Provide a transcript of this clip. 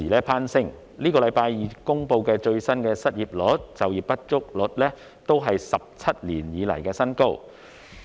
本星期二公布的最新失業率和就業不足率都是17年以來的新高。